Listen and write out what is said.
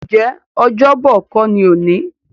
Ǹjẹ́ Ọ́jọ́bọ̀ kó ni òní?